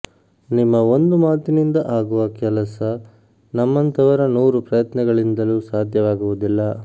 ನಿಮ್ಮ ಒಂದು ಮಾತಿನಿಂದ ಆಗುವ ಕೆಲಸ ನಮ್ಮಂಥವರ ನೂರು ಪ್ರಯತ್ನಗಳಿಂದಲೂ ಸಾಧ್ಯವಾಗುವುದಿಲ್ಲ